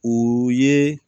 O ye